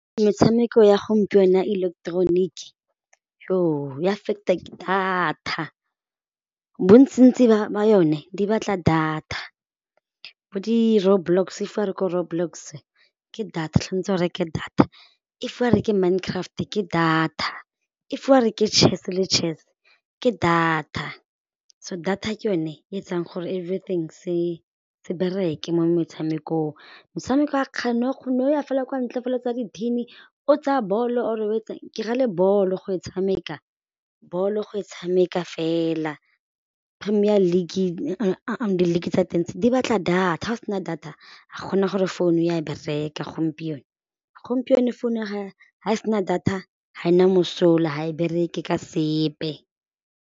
Metshameko ya gompieno ya ileketeroniki ya affect data. Bontsintsi ba yone di batla data, bo di-roadblocks if wa re ko road blocks ke data o reke data, if wa re ke mind craft ke data, if wa re ke chess le chess ke data, so data ke yone e etsang gore everything se bereke mo metshamekong, metshameko ya o ne go ya fela kwa ntle fela o tsaya di-tin-i o tsaya bolo or o etsang, ke ra le bolo go e tshameka bolo go e tshameka fela premier league di league tsa teng tse di batla data ga o se na data ga go na gore founu ya bereka gompieno, gompieno founu ga e se na data ga e na mosola ga e bereke ka sepe.